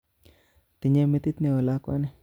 Tinye metit neo lakwani